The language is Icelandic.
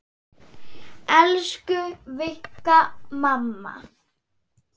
Elsku Vigga mamma.